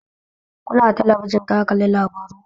Kunna talabijin ka kalli labaru